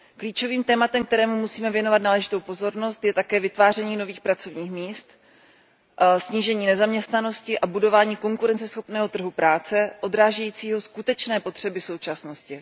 Klíčovým tématem, kterému musíme věnovat náležitou pozornost, je také vytváření nových pracovních míst, snížení nezaměstnanosti a budování konkurenceschopného trhu práce odrážejícího skutečné potřeby současnosti.